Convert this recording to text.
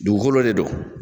Dugukolo de don.